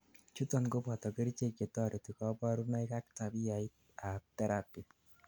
chuton koboto kerichek chetoreti kaborunoik ak tabiait ab therapy